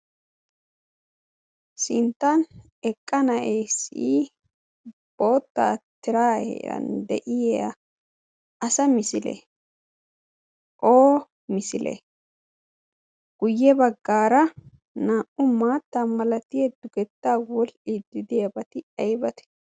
Sinttan eqqa na'eesii bota tiraa heeran de'iya asa misile o misile? guyye baggaara naa77u maattaa malati eddugetta woli iddi deebati aybate